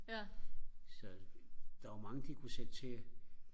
så der var mange de kunne sætte til